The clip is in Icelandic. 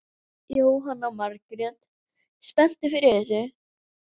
Jóhanna Margrét: Spenntur fyrir þessu?